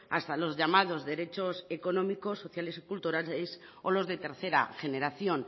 hasta los llamados derechos económicos sociales y culturales o los de tercera generación